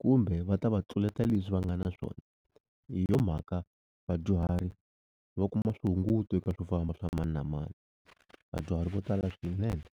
kumbe va ta va tluleta leswi va nga na swona hi yo mhaka vadyuhari va kuma swihunguto eka swofamba swa mani na mani vadyuhari vo tala swinene.